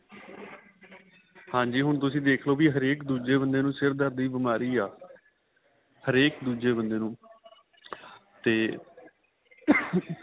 ਹਾਂਜੀ ਹੁਣ ਤੁਸੀਂ ਦੇਖਲੋ ਹਰੇਕ ਦੂਜੇ ਬੰਦੇ ਨੂੰ ਸਿਰ ਦਰਦ ਦੀ ਬੀਮਾਰੀ ਆਂ ਹਰੇਕ ਦੂਜੇ ਬੰਦੇ ਨੂੰ ਤੇ